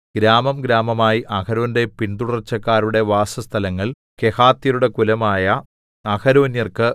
ഗ്രാമംഗ്രാമമായി അഹരോന്റെ പിന്തുടർച്ചക്കാരുടെ വാസസ്ഥലങ്ങൾ കെഹാത്യരുടെ കുലമായ അഹരോന്യർക്ക്